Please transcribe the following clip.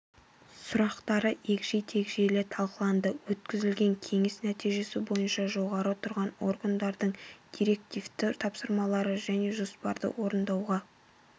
сұрақтары егжей-тегжейлі талқыланды өткізілген кеңес нәтижесі бойынша жоғары тұрған органдардың директивті тапсырмалары және жоспарды орындауға